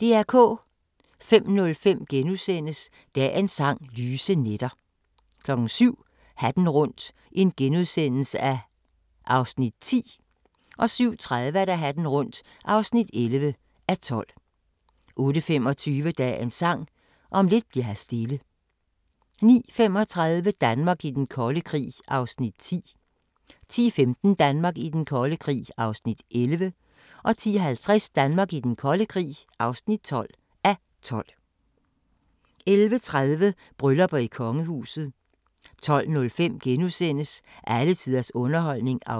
05:05: Dagens Sang: Lyse nætter * 07:00: Hatten rundt (10:12)* 07:30: Hatten rundt (11:12) 08:25: Dagens Sang: Om lidt bli'r her stille 09:35: Danmark i den kolde krig (10:12) 10:15: Danmark i den kolde krig (11:12) 10:50: Danmark i den kolde krig (12:12) 11:30: Bryllupper i kongehuset 12:05: Alle tiders underholdning (4:8)*